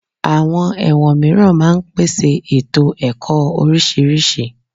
Àwọn ẹ̀wọ̀n mìíràn máa ń pèsè ètò ẹ̀kọ́ oríṣiríṣi